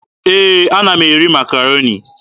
Ee, ana m eri Makaroni.